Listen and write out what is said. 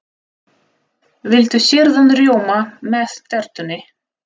Viltu sýrðan rjóma með tertunni?